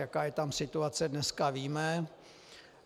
Jaká je tam situace dneska, víme.